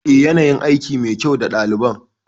Eh ya nayin aiki mai kyau da ɗaliban